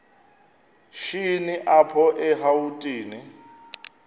shini apho erawutini